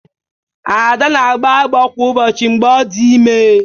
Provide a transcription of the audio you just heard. Ada na-agbọ agbọ kwa ụbọchị mgbe ọ dị ime